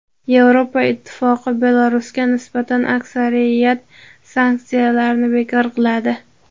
Yevropa Ittifoqi Belarusga nisbatan aksariyat sanksiyalarni bekor qiladi.